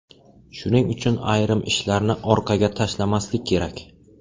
Shuning uchun ayrim ishlarni orqaga tashlamaslik kerak.